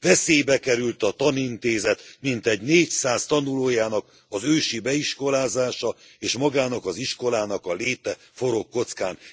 Veszélybe került a tanintézet mintegy négyszáz tanulójának az őszi beiskolázása, és magának az iskolának a léte forog kockán.